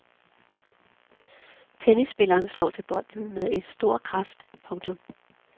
Tennisspilleren slår til bolden med stor kraft. punktum